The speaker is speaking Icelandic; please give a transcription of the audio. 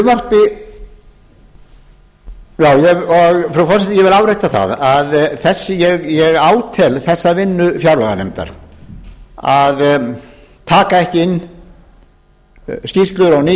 forseti ég vil árétta það að ég átel þessa vinnu fjárlaganefndar að taka ekki inn skýrslur og ný